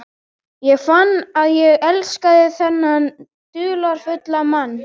Ég fann að ég elskaði þennan dularfulla mann.